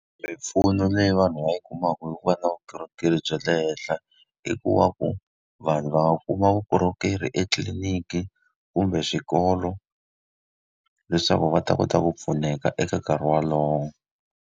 Mimpfuno leyi vanhu va yi kumaka hi ku va na vukorhokeri bya le henhla i ku va ku vanhu va kuma vukorhokeri etliliniki, kumbe swikolo, leswaku va ta kota ku pfuneka eka nkarhi wolowo.